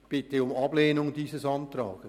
Ich bitte um Ablehnung dieses Antrags.